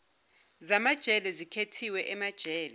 zamajele zikhethiwe emajele